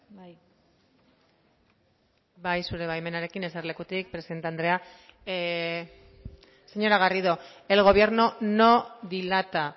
bai bai zure baimenarekin eserlekutik presidente andrea señora garrido el gobierno no dilata